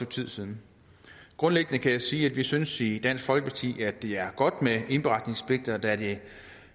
tid siden grundlæggende kan jeg sige at vi synes i dansk folkeparti at det er godt med indberetningspligt da det